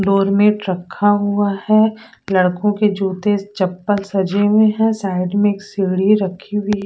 doormat रखा हुआ है लड़कों के जूते चप्पल सजे हुए है साइड में एक सीढ़ी रखी हुई--